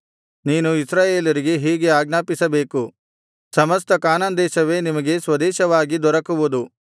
ನೀನು ಇಸ್ರಾಯೇಲರಿಗೆ ಹೀಗೆ ಆಜ್ಞಾಪಿಸಬೇಕು ಸಮಸ್ತ ಕಾನಾನ್ ದೇಶವೇ ನಿಮಗೆ ಸ್ವದೇಶವಾಗಿ ದೊರಕುವುದು